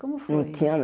Como foi isso? Não tinha